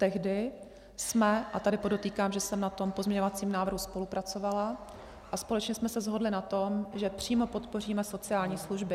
Tehdy jsme - a tady podotýkám, že jsem na tom pozměňovacím návrhu spolupracovala, a společně jsme se shodli na tom, že přímo podpoříme sociální služby.